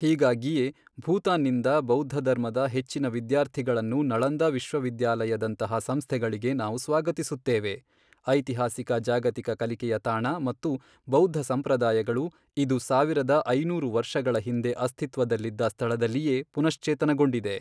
ಹೀಗಾಗಿಯೇ ಭೂತಾನ್ನಿಂದ ಬೌದ್ಧಧರ್ಮದ ಹೆಚ್ಚಿನ ವಿದ್ಯಾರ್ಥಿಗಳನ್ನು ನಳಂದ ವಿಶ್ವವಿದ್ಯಾಲಯದಂತಹ ಸಂಸ್ಥೆಗಳಿಗೆ ನಾವು ಸ್ವಾಗತಿಸುತ್ತೇವೆ, ಐತಿಹಾಸಿಕ ಜಾಗತಿಕ ಕಲಿಕೆಯ ತಾಣ ಮತ್ತು ಬೌದ್ಧ ಸಂಪ್ರದಾಯಗಳು, ಇದು ಸಾವಿರದ ಐನೂರು ವರ್ಷಗಳ ಹಿಂದೆ ಅಸ್ತಿತ್ವದಲ್ಲಿದ್ದ ಸ್ಥಳದಲ್ಲಿಯೇ ಪುನಶ್ಚೇತನಗೊಂಡಿದೆ.